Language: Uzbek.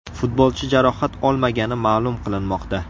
Futbolchi jarohat olmagani ma’lum qilinmoqda.